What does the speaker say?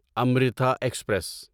Amrita express